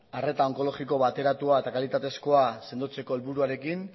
arreta onkologiko bateratua eta kalitatezkoa sendotzeko helburuarekin